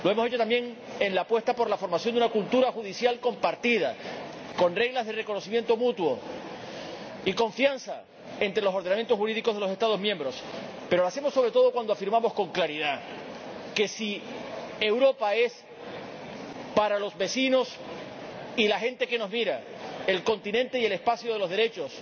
Lo hemos hecho también en la apuesta por la creación de una cultura judicial compartida, con reglas de reconocimiento mutuo y confianza entre los ordenamientos jurídicos de los Estados miembros. Pero lo hacemos sobre todo cuando afirmamos con claridad que, si Europa es, para los vecinos y la gente que nos mira, el continente y el espacio de los derechos,